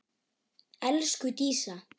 Elsku Dísa.